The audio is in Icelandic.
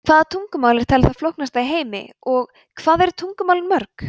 hvaða tungumál er talið það flóknasta í heimi og hvað eru tungumálin mörg